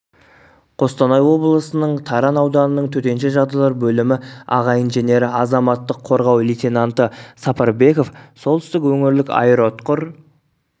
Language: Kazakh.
қостанай облысының таран ауданының төтенше жағдайлар бөлімі аға инженері азаматтық қорғау лейтенанты сапарбеков солтүстік өңірлік аэроұтқыр